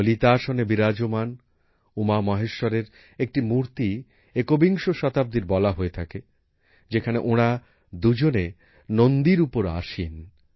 ললিতাসনে বিরাজমান উমামহেশ্বরের একটি মূর্তি একবিংশ শতাব্দীর বলা হয়ে থাকে যেখানে ওঁরা দুজনে নন্দীর ওপর আসীন